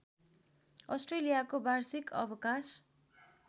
अस्ट्रेलियाको वार्षिक अवकाश